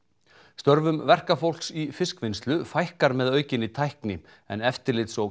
störfum verkafólks í fiskvinnslu fækkar með aukinni tækni en eftirlits og